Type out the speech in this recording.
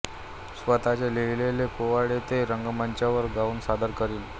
स्वतःचे लिहिलेले पोवाडे ते रंगमंचावर गाऊन सादर करीत